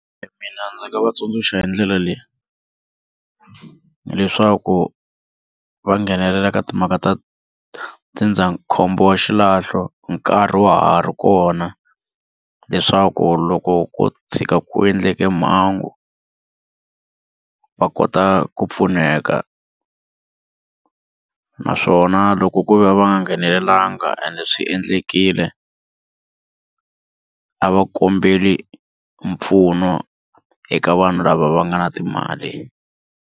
Mina ndzi nga va tsundzuxa hi ndlela leyi leswaku va nghenelela ka timhaka ta ndzindzakhombo wa xilahlo nkarhi wa ha ri kona leswaku loko ko tshuka ku endleke mhangu va kota ku pfuneka naswona loko ku ve a va nga nghenelelanga ende swi endlekile a va kombeli mpfuno eka vanhu lava va nga na timali.